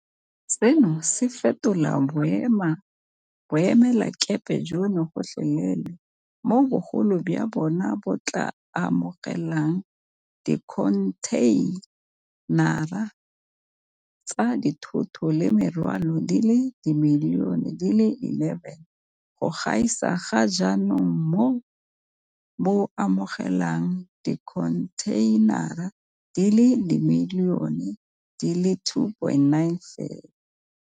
Seno se tla fetola boemelakepe jono gotlhelele, mo bogolo jwa bona bo tla amogelang dikhonthei nara tsa dithoto le merwalo di le dimilione di le 11 go gaisa ga jaanong mo bo amogelang dikhontheinara di le dimilione di le 2.9 fela.